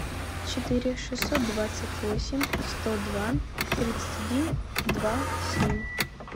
четыре шестьсот двадцать восемь сто два тридцать один два семь